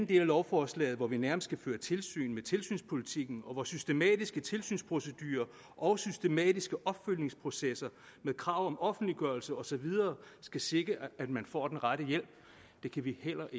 del af lovforslaget skal vi nærmest føre tilsyn med tilsynspolitikken hvor systematiske tilsynsprocedurer og systematiske opfølgningsprocesser med krav om offentliggørelse og så videre skal sikre at man får den rette hjælp det kan vi heller